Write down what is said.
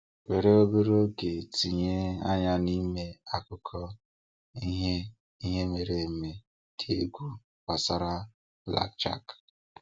Were obere oge tinye anya n'ime akụkọ ihe ihe mere eme dị egwu gbasara Blackjack.